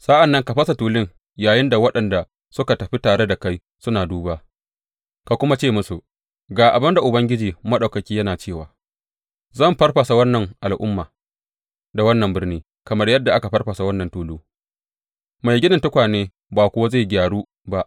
Sa’an nan ka fasa tulun yayinda waɗanda suka tafi tare da kai suna duba, ka kuma ce musu, Ga abin da Ubangiji Maɗaukaki yana cewa zan farfasa wannan al’umma da wannan birni kamar yadda aka farfasa wannan tulu mai ginin tukwane ba kuwa zai gyaru ba.